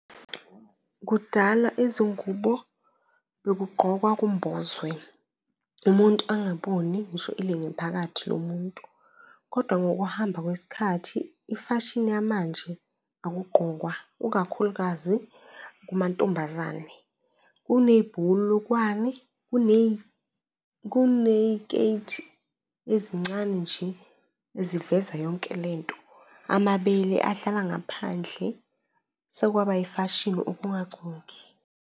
Kudala izingubo bekugqokwa kumbozwe, umuntu angaboni ngisho ilingephakathi lo muntu. Kodwa ngokuhamba kwesikhathi, ifashini yamanje, akugqokwa ukakhulukazi kumantombazane, kunebhulukwane, kuney'keti ezincane nje eziveza yonke lento, amabele ahlala ngaphandle sekwaba ifashini ukungagcoki.